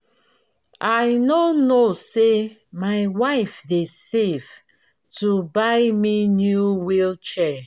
i no know say my wife dey save to buy me new wheel chair